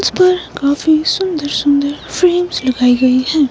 इस पर काफी सुंदर सुंदर फ्रेमस् लगाई गई है।